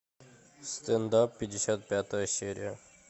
стендап пятьдесят пятая серия